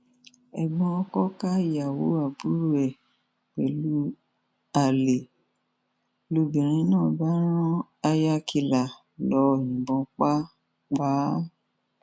ẹgbọn ọkọ ká ìyàwó àbúrò ẹ mọ pẹlú alẹ ń lóbìnrin náà bá rán háyà kìlà lọọ yìnbọn pa pa á